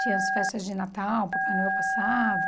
Tinha as festas de Natal, Papai Noel passava...